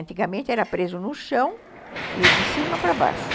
Antigamente era preso no chão e de cima para baixo.